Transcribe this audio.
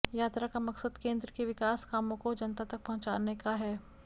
यात्रा का मकसद केंद्र के विकास कामों को जनता तक पहुंचाने का है